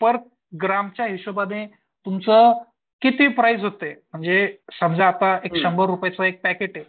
पर ग्रॅमच्या हिशोबाने तुमच्या किती प्राईस होते म्हणजे समजा आता एक शंभर रुपयेच एक पॅकेट आहे.